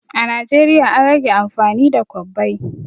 A Najeriya an rage amfani da kwabbai